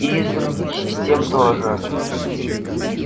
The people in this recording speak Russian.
и из других систем тоже